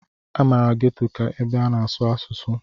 A maara Ghetto ka ebe a na-asụ ọsụsụ.